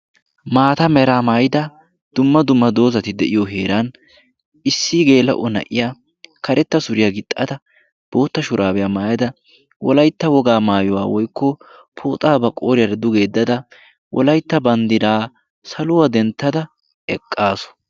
Maata Mera maayida dumma dumma dozati de'iyo heran issi geela'o na'iya karatta suriya gixxada bootta shuraabiya mayada wolayitta wogaa mayiwa woykko pooxaa ba gooriyara duge yeddada wolaytta banddiraa saluwa denttada eqqaasu.